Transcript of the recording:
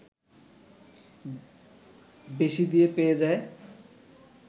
বেশি দিয়ে পেয়ে যায়